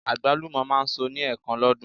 Àgbálùmọ̀ máa ń so ní ẹ̀ẹ̀kan lọ́dún.